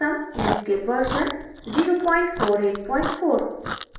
inkscape version 0484